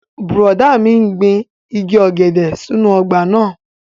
Bùrọ̀dá mi n gbin igi ọ̀gẹ̀dẹ̀ sínú ọgbà náà